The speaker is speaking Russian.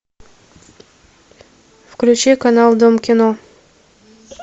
включи канал дом кино